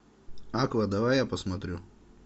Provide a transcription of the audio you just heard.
аква давай я посмотрю